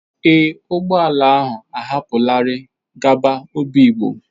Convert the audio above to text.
Ee, ụgbọ ala ahụ ahapụlarị gaba obigbo.